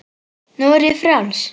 Nú er ég frjáls!